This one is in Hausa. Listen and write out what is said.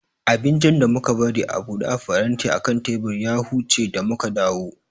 Abincin da muka bari a buɗe a faranti akan teburi ya huce da muka dawu